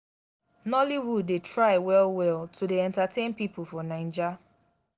nolloywood dey try well-well to dey entertain pipo for naija.